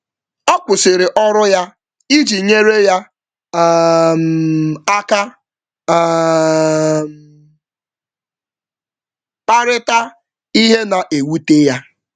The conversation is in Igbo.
Ọ kwụsịrị ọrụ ya iji nyere ya um aka um kparịta ihe na-ewute ya.